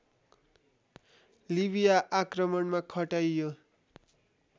लिबिया आक्रमणमा खटाइयो